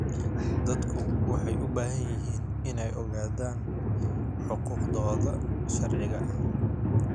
Dadku waxay u baahan yihiin inay ogaadaan xuquuqdooda sharciga ah.